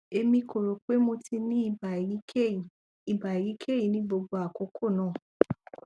emi ko ro pe mo ti ni iba eyikeyi iba eyikeyi ni gbogbo akoko naa